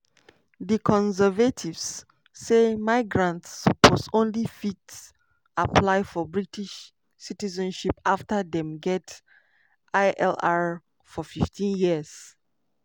di conservatives say migrants suppose only fit apply for british citizenship afta dem get ilr for 15 years.